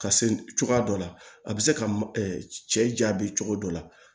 Ka se cogoya dɔ la a bɛ se ka cɛ bɛ cogo dɔ la